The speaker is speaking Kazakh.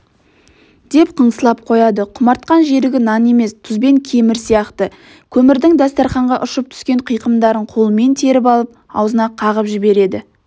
деп қыңсылап қояды құмартқан жерігі нан емес тұз бен кемір сияқты көмірдің дастарқанға ұшып түскен қиқымдарын қолымен теріп алып аузына қағып жібереді